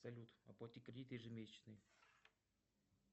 салют оплати кредит ежемесячный